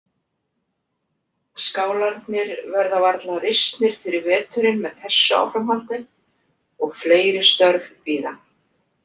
Skálarnir verða varla risnir fyrir veturinn með þessu áframhaldi og fleiri störf bíða.